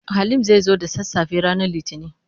Halim zai zo da sassafe ranar Litinin.